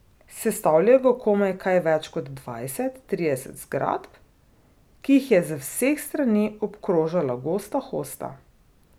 Sestavljalo ga je komaj kaj več kot dvajset, trideset zgradb, ki jih je z vseh strani obkrožala gosta hosta.